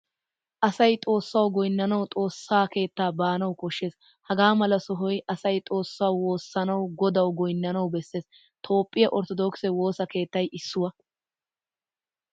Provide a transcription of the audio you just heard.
Asay xoossawu goynanawu xoossaa keettaa baanawu koshshees. Hagamala sohoy asay xoossawu woossanawu godawu goynanawu bees. Toophphiyaa orttoddokise woossa keettay issuwaa.